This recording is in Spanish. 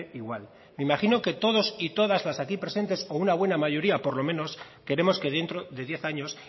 igual me imagino que todos y todas las aquí presentes o una buena mayoría por lo menos queremos que dentro de diez años